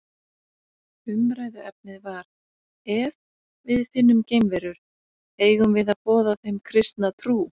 Umræðuefnið var Ef við finnum geimverur, eigum við að boða þeim kristna trú?